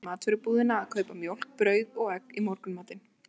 Hann var sendur niður í matvörubúðina að kaupa mjólk, brauð og egg í morgunmatinn.